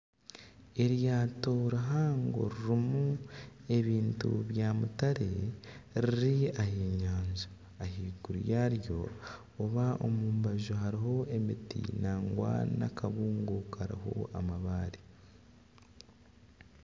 Eryato rihango ririmu ebintu bya mutare riri aha nyanja ahaiguru yaaryo oba omu mbaju hariho emiti nangwa n'akabungo kariho amabare